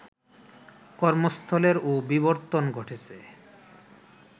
কর্মস্থলেরও বিবর্তন ঘটেছে